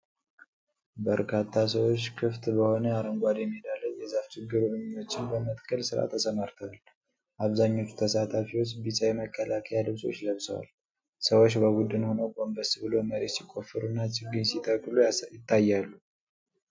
በርካታ ሰዎች ክፍት በሆነ አረንጓዴ ሜዳ ላይ የዛፍ ችግኞችን በመትከል ሥራ ተሰማርተዋል። አብዛኞቹ ተሳታፊዎች ቢጫ የመከላከያ ልብሶች ለብሰዋል። ሰዎች በቡድን ሆነው ጎንበስ ብለው መሬት ሲቆፍሩና ችግኝ ሲተክሉ ይታያሉ።